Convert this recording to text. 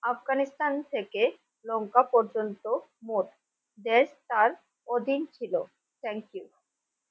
আফগানিস্তান থেকে লঙ্কা পর্যন্ত মোট দেশ তার অধীনে ছিল thank you